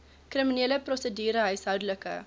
kriminele prosedure huishoudelike